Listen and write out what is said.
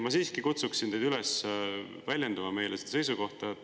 Ma siiski kutsun teid üles väljendama meile seda seisukohta.